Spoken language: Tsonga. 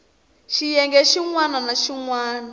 xiyenge xin wana ni xin